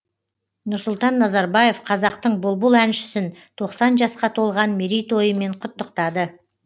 нұрсұлтан назарбаев қазақтың бұлбұл әншісін тоқсан жасқа толған мерейтойымен құттықтады